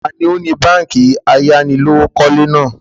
Taàní ó ní báànkì ayánilówókọ̀lé náà?